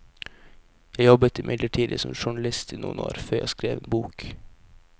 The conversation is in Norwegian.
Jeg jobbet imidlertid som journalist i noen år, før jeg skrev en bok.